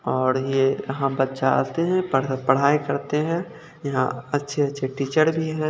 और ये यहां बच्चा आते हैं पढ़ पढ़ाई करते हैं यहां अच्छे अच्छे टीचर भी हैं।